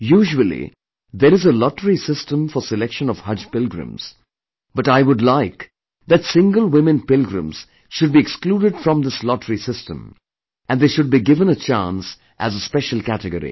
Usually there is a lottery system for selection of Haj pilgrims but I would like that single women pilgrims should be excluded from this lottery system and they should be given a chance as a special category